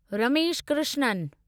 Ramesh Krishnan